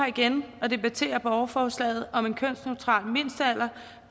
igen og debatterer borgerforslaget om en kønsneutral mindstealder